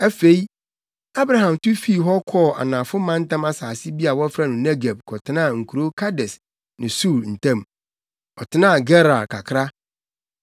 Afei, Abraham tu fii hɔ kɔɔ anafo mantam asase bi a wɔfrɛ no Negeb kɔtenaa nkurow Kades ne Sur ntam. Ɔtenaa Gerar kakra.